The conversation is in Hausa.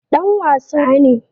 Dan wasa ne